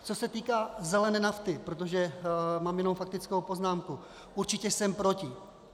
Co se týká zelené nafty, protože mám jenom faktickou poznámku, určitě jsem proti.